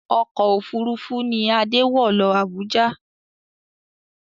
Ọkọ̀ òfuurufú ni Adé wọ̀ lọ Abuja